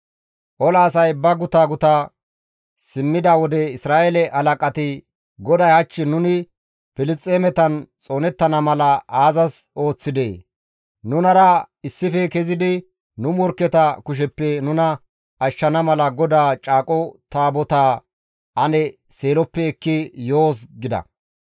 Ola asay ba guta guta simmida wode Isra7eele halaqati, «GODAY hach nuni Filisxeemetan xoonettana mala aazas ooththidee? Nunara issife kezidi nu morkketa kusheppe nuna ashshana mala GODAA Caaqo Qaala Taabotaa ane Seeloppe ekki yoos» gida.